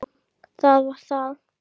Jú, það var það.